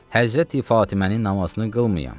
Həzrəti Fatimənin namazını qılmayam.